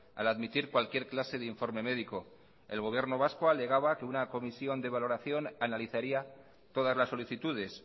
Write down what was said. al admitir cualquier clase de informe médico el gobierno vasco alegaba que una comisión de valoración analizaría todas las solicitudes